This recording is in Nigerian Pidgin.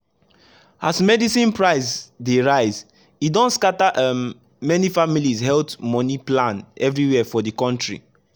as medicine price dey rise e don scatter um many families’ health money plan everywhere for the country.